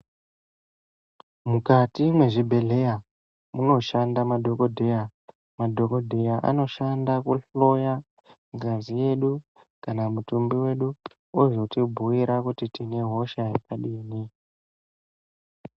Mukati mezvibhedhlera munoshanda madhokodheya. Madhokodheya anoshanda kuhloya ngazi yedu kana mutumbi wedu, ozotibhuyira kuti tine hosha yakadini.